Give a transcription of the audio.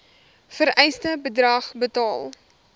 vereiste bedrag betaal